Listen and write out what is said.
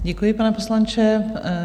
Děkuji, pane poslanče.